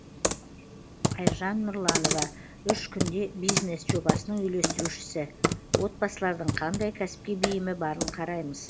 айжан нұрланова үш күнде бизнес жобасының үйлестірушісі отбасылардың қандай кәсіпке бейімі барын қараймыз